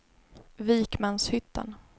Vikmanshyttan